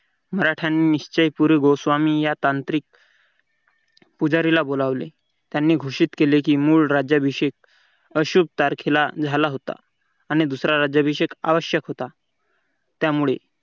मराठ्यांनी निश्चयपूर्वी गोस्वामी या तांत्रिक पुजारीला बोलावले त्यांनी घोषित केले की मूळ राज्याभिषेक अशुभ तारखेला झाला होता. आणि दुसरा राज्याभिषेक आवश्यक होता त्यामुळे